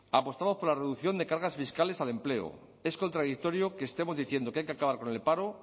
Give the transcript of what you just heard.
apostamos por la reducción de cargas fiscales al empleo es contradictorio que estemos diciendo que hay que acabar con el paro